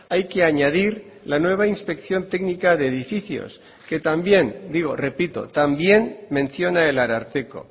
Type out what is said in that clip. hay que añadir la nueva inspección técnica de edificios que también digo repito también menciona el ararteko